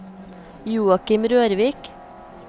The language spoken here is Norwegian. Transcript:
Joachim Rørvik